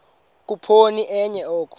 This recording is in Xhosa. khuphoni enye oko